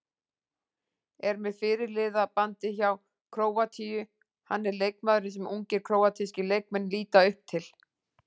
Er með fyrirliðabandið hjá Króatíu, hann er leikmaðurinn sem ungir króatískir leikmenn líta upp til.